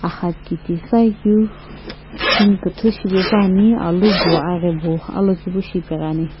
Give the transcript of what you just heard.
gha kitisai keu kine kiitii shipae pa ne alu Bo aghabo alokivishi apaegani.